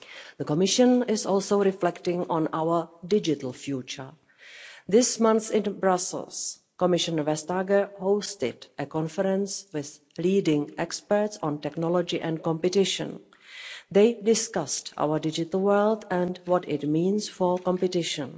The Commission is also reflecting on our digital future. This month in Brussels, Commissioner Vestager hosted a conference with leading experts on technology and competition. They discussed our digital world and what it means for competition.